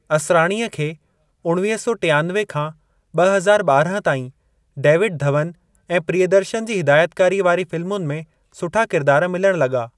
असराणीअ खे उणिवीह सौ टियानवे खां ॿ हज़ार ॿारहं ताईं डेविड धवन ऐं प्रियदर्शन जी हिदायतकारीअ वारी फ़िल्मुनि में सुठा किरदार मिलण लॻा।